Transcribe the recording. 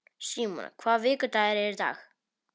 Símona, hvaða vikudagur er í dag?